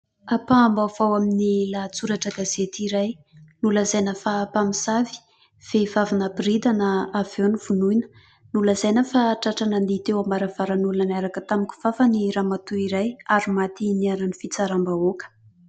Ampaham-baovao ao amin'ny lahatsoratra gazety iray. Nolazaina fa mpamosavy : vehivavy naboridana avy eo novonoina, nolazaina fa tratra nandihy teo am-baravaran'olona niaraka tamin'ny kifafa ny Ramatoa iray ary maty niharan'ny fitsaram-bahoaka.